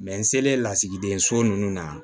n selen lasigiden so ninnu na